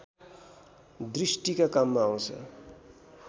दृष्टिका काममा आँउछ